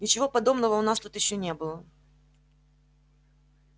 ничего подобного у нас тут ещё не было